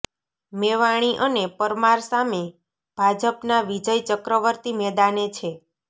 મેવાણી અને પરમાર સામે ભાજપના વિજય ચક્રવર્તી મેદાને છે